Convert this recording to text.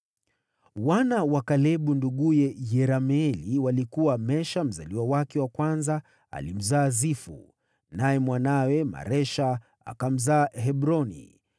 Wana wa Kalebu nduguye Yerameeli walikuwa: Mesha mzaliwa wake wa kwanza alimzaa Zifu, naye mwanawe Maresha akamzaa Hebroni.